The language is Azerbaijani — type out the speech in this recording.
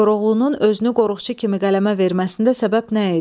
Koroğlunun özünü qoruqçu kimi qələmə verməsində səbəb nə idi?